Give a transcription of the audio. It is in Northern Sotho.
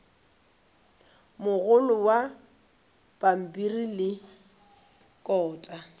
mogolo wa pampiri le kota